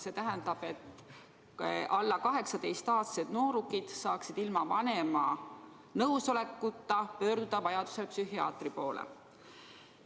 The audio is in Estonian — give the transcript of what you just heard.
Seda selleks, et alla 18-aastased noored saaksid ilma vanema nõusolekuta vajadusel psühhiaatri poole pöörduda.